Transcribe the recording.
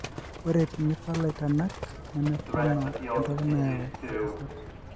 ore tenipal aitanak nemepoona entoki nayau entasat.